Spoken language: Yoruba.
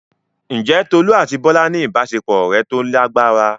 Ǹjẹ́ Tolú àti Bọ́lá ní ìbáṣepọ̀ ọ̀rẹ́ tó lágbára?